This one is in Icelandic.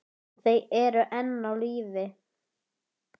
Þau eru enn á lífi.